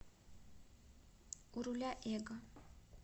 у руля эго